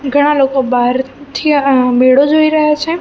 ઘણા લોકો બહારથી અહ મેળો જોઈ રહ્યા છે.